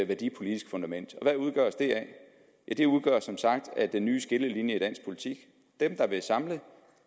værdipolitisk fundament hvad udgøres det af det udgøres som sagt af den nye skillelinje i dansk politik dem der vil samle